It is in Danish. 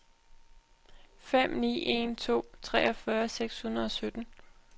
fem ni en to treogfyrre seks hundrede og sytten